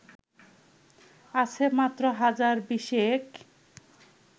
আছে মাত্র হাজার বিশেক